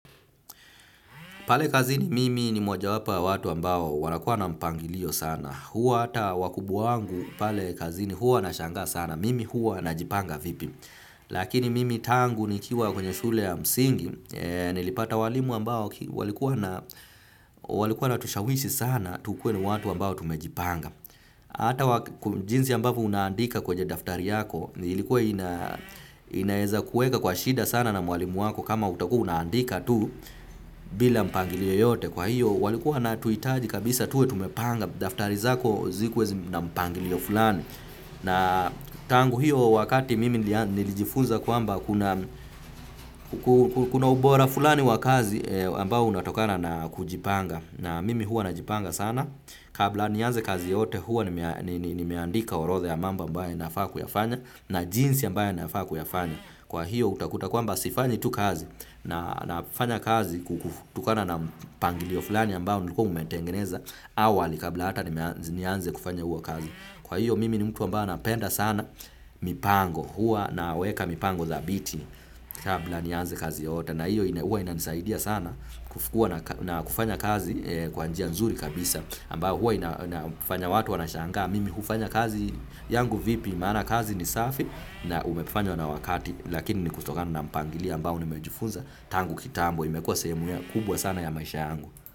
Pale kazini mimi ni mojawapo wa watu ambao wanakuwa na mpangilio sana. Huwa hata wakubwa wangu pale kazini huwa wanashangaa sana. Mimi huwa najipanga vipi. Lakini mimi tangu nikiwa kwenye shule ya msingi. Nilipata walimu ambao walikuwa wanatushawishi sana tukue watu ambao tumejipanga. Hata jinsi ambavyo unaandika kwenye daftari yako. Ilikuwa inaweza kuweka kwa shida sana na mwalimu wako kama utakuwa unaandika tu. Bila mpangilio yeyote kwa hivyo walikuwa wanatuhitaji kabisa tuwe tumepanga. Daftari zako zikuwe na mpangilio fulani. Na tangu hiyo wakati mimi nilijifunza kwamba kuna ubora fulani wa kazi ambao unatokana na kujipanga. Na mimi huwa najipanga sana. Kabla nianze kazi yote huwa nimeandika orodha ya mambo ambaye nafaa kuyafanya. Na jinsi ambaye nafaa kuyafanya. Kwa hivyo utakuta kwamba sifanyi tu kazi nafanya kazi kutokana na mpangilio fulani ambao nilikuwa nimeutengeneza awali kabla hata nianze kufanya hiyo kazi. Kwa hivyo mimi ni mtu ambao napenda sana mipango huwa naweka mipango thabiti kabla nianze kazi yoyote na hiyo huwa inanisaidia sana na kufanya kazi kwa njia nzuri kabisa ambao huwa inafanya watu wanashangaa. Mimi hufanya kazi yangu vipi maana kazi ni safi na umefanywa na wakati lakini ni kutokana na mpangilio ambao nimejifunza tangu kitambo imekuwa sehemu kubwa sana ya maisha yangu.